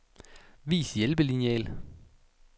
Vis hjælpelineal.